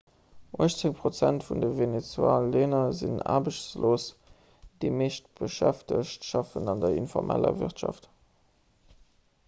uechtzéng prozent vun de venezuelaner sinn aarbechtslos an déi meescht beschäftegt schaffen an der informeller wirtschaft